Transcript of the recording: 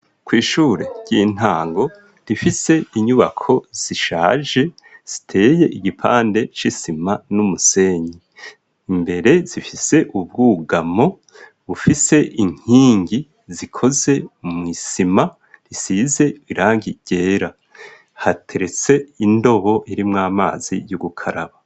Kw'ishure ry'intango rifise inyubako zishaje ziteye igipande c'isima n'umusenyi imbere zifise ubwugamo bufise inkingi zikoze mw'isima risize birangigera hateretse indobo iri mw amazi y'ugukaraba.